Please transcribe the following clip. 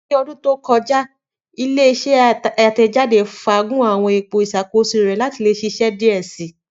Ni ọdun to kọja, ile-iṣẹ atẹjade faagun awọn ipo iṣakoso rẹ fun ṣiṣe diẹ sii.